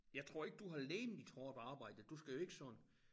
Jeg tror ikke du har legemligt hårdt arbejde du skal jo ikke sådan